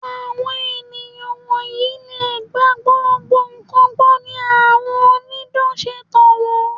Àwọn ènìyàn wọ̀nyí lè gba gbogbo nǹkan gbọ́ ni àwọn onídán ṣe ń tàn wón.